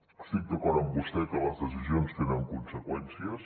estic d’acord amb vostè que les decisions tenen conseqüències